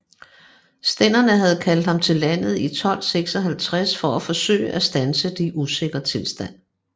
Stænderne havde kaldt ham til landet i 1256 for at forsøge at standse den usikre tilstand